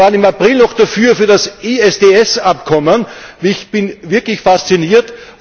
Sie waren im April noch für das ISDS Abkommen. Ich bin wirklich fasziniert.